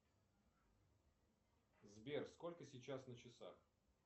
сбер сколько сейчас на часах